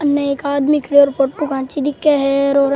अन्ने एक आदमी खड़े और फोटू खेंची दिखे है और --